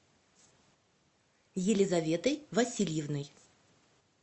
елизаветой васильевной